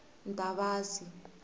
ntavasi